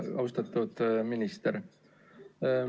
Austatud minister!